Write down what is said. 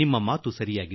ನಿನ್ನಮಾತು ಸರಿ